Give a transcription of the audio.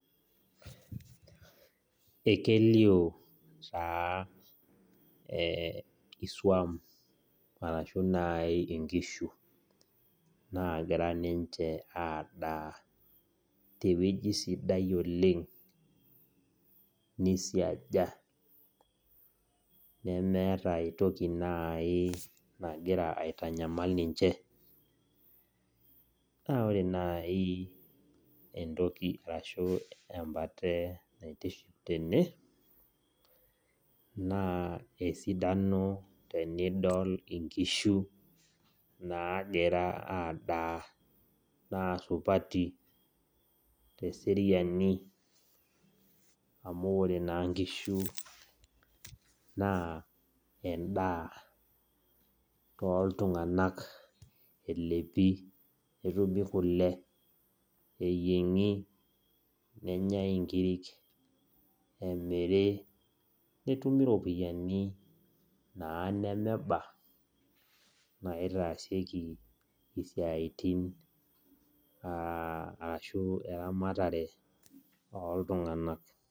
Ekelio taa iswam ashuu naaji inkishu naagira ninye aadaa tewueji sidai oleng neisiaja nemeta entoki nagira aitanyamal ninche naa ore naaji esidano tenidol inkishu nagira adaa naa supati teseriani amu ore naa inkishu naa endaa toltung'ani elepi netumi kule neyieng'i nenyai inkirik nemiri netumi iropiyiani nemeta eneba naitaasieki isiatin eramatare ooltung'anak.